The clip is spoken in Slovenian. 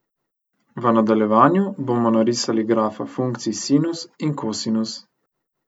V nadaljevanju bomo narisali grafa funkcij sinus in kosinus.